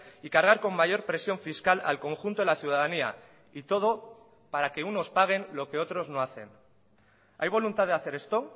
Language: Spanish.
y cargar con mayor presión fiscal al conjunto de la ciudadanía y todo para que unos paguen lo que otros no hacen hay voluntad de hacer esto